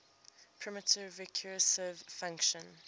primitive recursive function